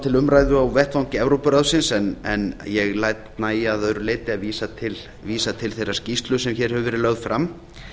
til umræðu á vettvangi evrópuráðsins en ég læt nægja að öðru leyti að vísa til þeirrar skýrslu sem hér hefur verið lögð fram